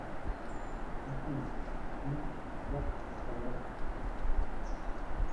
афина ну как сказать